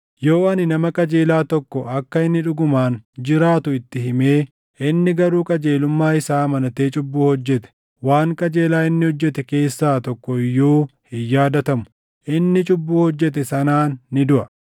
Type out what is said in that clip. Yoo ani nama qajeelaa tokko akka inni dhugumaan jiraatu itti himee, inni garuu qajeelummaa isaa amanatee cubbuu hojjete, waan qajeelaa inni hojjete keessaa tokko iyyuu hin yaadatamu; inni cubbuu hojjete sanaan ni duʼa.